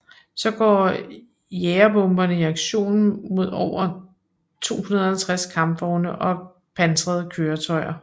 Så gik jagerbomberne i aktion mod over 250 kampvogne og pansrede køretøjer